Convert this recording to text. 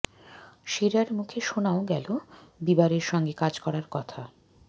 শেরার মুখে শোনাও গেল বিবারের সঙ্গে কাজ করার কথা